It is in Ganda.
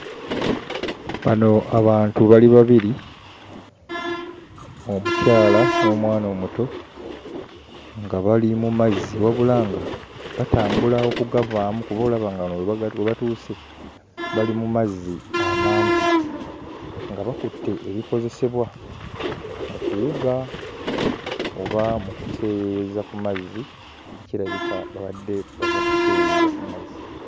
Bano abantu bali babiri, omukyala n'omwana omuto nga bali mu mazzi wabula nga batambula okugavaamu kuba olaba nga wano we bagatu we batuuse bali mu mazzi amampi nga bakutte ebikozesebwa mu kuwuga oba mu kuseeyeeyeza ku mazzi kirabika babadde bava kuseeyeeya ku mazzi.